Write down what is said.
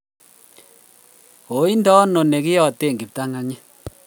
kainde ano ne kiyate kiptang'anyit